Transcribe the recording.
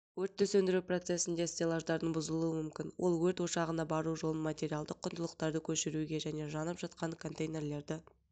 өртті сөндіру процесінде стеллаждардың бұзылуы мүмкін ол өрт ошағына бару жолын материалдық құндылықтарды көшіруге және жанып жатқан контейнерлерді